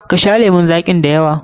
Ka sha lemun zaƙi da yawa!